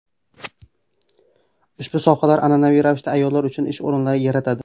Ushbu sohalar an’anaviy ravishda ayollar uchun ish o‘rinlari yaratadi.